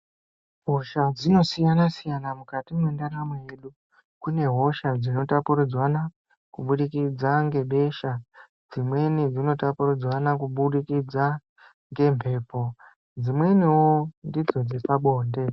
Hosha dzinosiyana siyana mukati mwendaramo yedu. Kune hosha dzinotapuridzanwa kubudikidza ngebesha. Dzimweni dzinotapuridzanwa kubudikidza ngembepo. Dzimweniwo ndidzo dzepabonde.